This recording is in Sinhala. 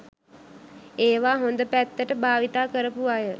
ඒවා හොඳ පැත්තට භාවිතා කරපු අය